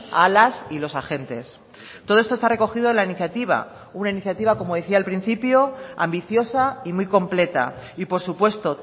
a las y los agentes todo esto está recogido la iniciativa una iniciativa como decía al principio ambiciosa y muy completa y por supuesto